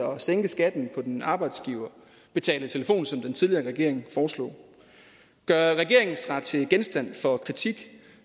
sænke skatten på den arbejdsgiverbetalte telefon som den tidligere regering foreslog gør regeringen sig til genstand for kritik